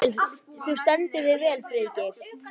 Þú stendur þig vel, Friðgeir!